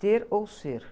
Ter ou ser.